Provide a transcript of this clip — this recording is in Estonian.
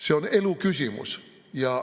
See on eluküsimus.